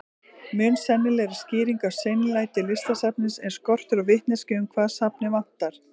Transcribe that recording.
Mun sennilegri skýring á seinlæti Listasafnsins er skortur á vitneskju um hvað safnið vantar.